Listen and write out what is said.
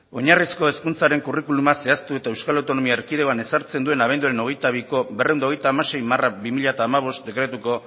oinarrizko hezkuntzaren kurrikuluma zehaztu eta euskal autonomia erkidegoan ezartzen duen abenduaren hogeita biko berrehun eta hogeita hamasei barra bi mila hamabost dekretuko